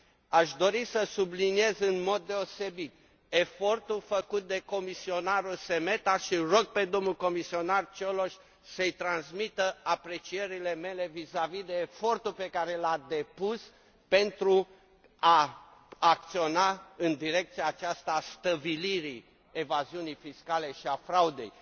Aș dori să subliniez în mod deosebit efortul făcut de comisarul Šemeta și îl rog pe domnul comisar Cioloș să îi transmită aprecierile mele vizavi de efortul pe care l a depus pentru a acționa în direcția aceasta, a stăvilirii evaziunii fiscale și a fraudei.